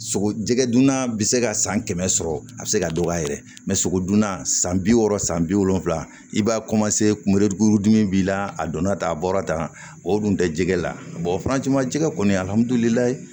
Sogo jɛgɛ dunna bɛ se ka san kɛmɛ sɔrɔ a bɛ se ka dɔgɔya yɛrɛ sogodunna san bi wɔɔrɔ san bi wolonvila i b'a kunberekurudimi b'i la a donna tan a bɔra tan o dun tɛ jɛgɛ la o jɛgɛ kɔni ali